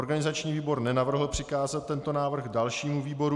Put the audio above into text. Organizační výbor nenavrhl přikázat tento návrh dalšímu výboru.